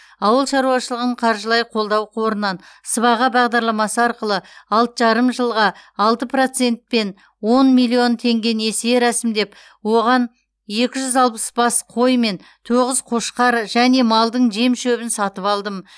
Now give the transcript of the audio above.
ауыл шаруашылығын қаржылай қолдау қорынан сыбаға бағдарламасы арқылы алты жарым жылға алты процентпен он миллион теңге несие рәсімдеп оған екі жүз алпыс бас қой мен тоғыз қошқар және малдың жем шөбін сатып алдым